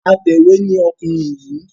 Atẹ̀wé ni ọkùnrin yìí.